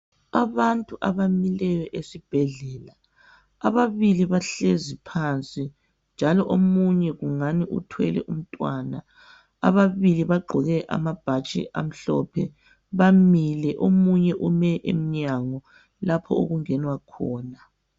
Abantu abamileyo esibhedlela. Ababili bahlezi phansi njalo omunye ungani uthwele umntwana. Ababii bagqoke amabhatshi amhlophe. Bamile omunye ume emnyango lapho okungenwa khona.